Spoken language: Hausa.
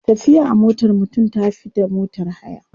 Tafiya a motar mutum ta fi da motar haya.